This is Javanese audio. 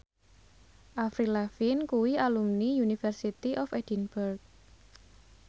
Avril Lavigne kuwi alumni University of Edinburgh